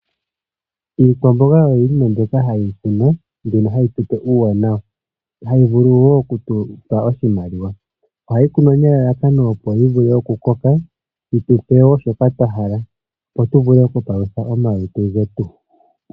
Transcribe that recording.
Iikwamboga oyo iinima mbyoka hayi kunwa mbyono tupe uuwanawa hayi vulu wo okutupa oshimaliwa, ohayi kunwa nelalakano opo yivule okukoka yitupe wo shoka twahala opo tuvele okupalutha omaluntu getu.